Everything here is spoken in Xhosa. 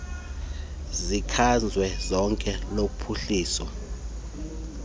sikazwelonke sophuhliso lwezakhono